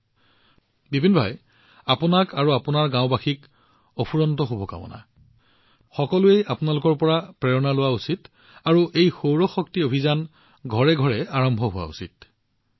ঠিক আছে বিপিন ভাই মই আপোনাক আৰু আপোনাৰ গাঁৱৰ সকলো লোকক অশেষ শুভকামনা জনাইছো আৰু বিশ্বই আপোনালোকৰ পৰা অনুপ্ৰেৰণা লোৱা উচিত আৰু এই সৌৰ শক্তি অভিযান প্ৰতিখন ঘৰত উপস্থিত হোৱা উচিত